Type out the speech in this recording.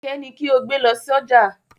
Kẹ̀kẹ́ ni kí o gbé lọ sójà!